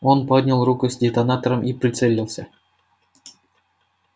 он поднял руку с детонатором и прицелился